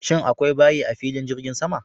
Shin akwai bayi a filin jirgin sama?